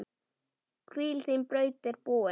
Hvíl, þín braut er búin.